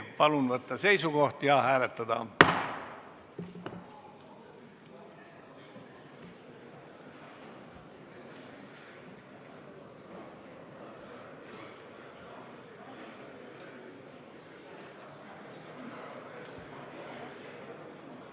Palun võtta seisukoht ja hääletada!